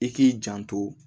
I k'i janto